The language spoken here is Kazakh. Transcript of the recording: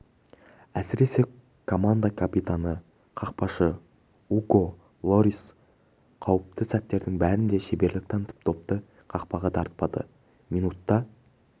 әсіресе команда капитаны қақпашы уго льорис қауіпті сәттердің бәрінде шеберлік танытып допты қақпаға дарытпады минутта